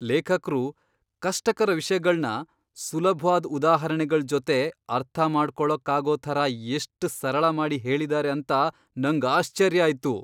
ಲೇಖಕ್ರು ಕಷ್ಟಕರ ವಿಷ್ಯಗಳ್ನ ಸುಲಭ್ವಾದ್ ಉದಾಹರಣೆಗಳ್ ಜೊತೆ ಅರ್ಥಮಾಡ್ಕೊಳಕ್ಕಾಗೋ ಥರ ಎಷ್ಟ್ ಸರಳ ಮಾಡಿ ಹೇಳಿದಾರೆ ಅಂತ ನಂಗ್ ಆಶ್ಚರ್ಯ ಆಯ್ತು.